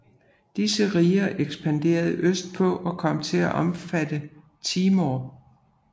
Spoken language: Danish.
Disse riger ekspanderede østpå og kom til at omfatte Timor